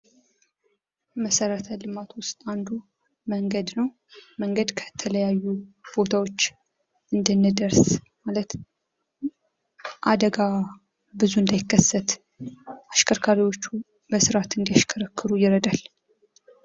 መሰረተ ልማት ዉስጥ አንዱ መንገድ ነው መንገድ ከተለያዩ ቦታዎች እንድንደርስ ማለት አደጋ ብዙ እንዳይከሰት አሽከርካሪዎቹ በስርአት እንዲያሽከረከሩ ይረዳል።